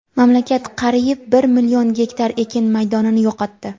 Mamlakat qariyb bir million gektar ekin maydonini yo‘qotdi.